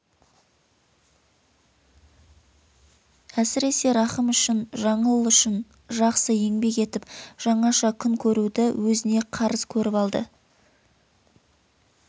әсіресе рахым үшін жаңыл үшін жақсы еңбек етіп жаңаша күн көруді өзіне қарыз көріп алды